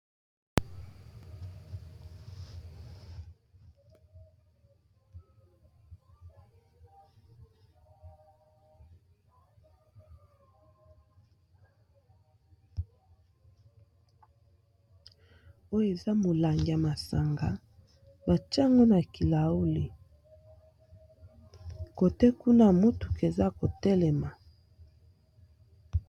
oyo eza molang ya masanga bacango na kilauli kote kuna motuku eza kotelema